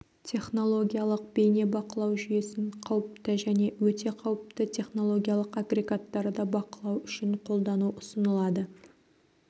технологиялық бейнебақылау жүйесін қауіпті және өте қауіпті технологиялық агрегаттарды бақылау үшін қолдану ұсынылады